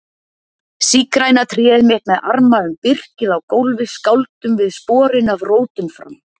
Sígræna tréð mitt með arma um birkið á gólfi skáldum við sporin af rótum fram